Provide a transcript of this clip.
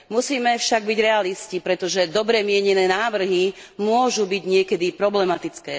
Musíme však byť realisti, pretože dobre mienené návrhy môžu byť niekedy problematické.